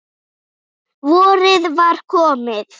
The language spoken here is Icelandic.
Vorið var komið.